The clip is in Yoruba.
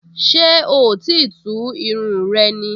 Ṣé oò tíì tú irun rẹ ni?